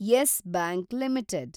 Yes bank limited